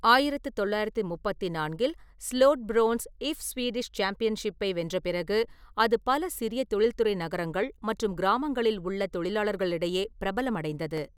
ஆயிரத்து தொள்ளாயிரத்தி முப்பத்தி நான்கில் ஸ்லோட்ஸ்பிரோன்ஸ் இஃப் ஸ்வீடிஷ் சாம்பியன்ஷிப்பை வென்ற பிறகு, அது பல சிறிய தொழில்துறை நகரங்கள் மற்றும் கிராமங்களில் உள்ள தொழிலாளர்களிடையே பிரபலமடைந்தது.